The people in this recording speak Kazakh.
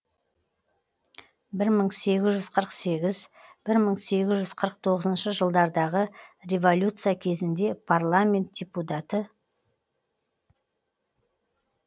бір мың сегіз жүз қырық сегіз бір мың сегіз жүз қырық тоғызыншы жылдардағы революция кезінде парламент депутаты